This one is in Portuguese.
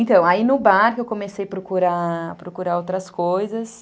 Então, aí no bar que eu comecei a procurar, procurar outras coisas,